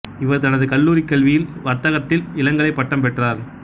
இவர் தனது கல்லூரிக் கல்வியில் வர்த்தகத்தில் இளங்கலைப் பட்டம் பெற்றார்